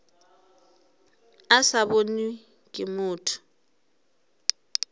a sa bonwe ke motho